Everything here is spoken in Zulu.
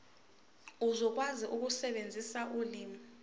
uzokwazi ukusebenzisa ulimi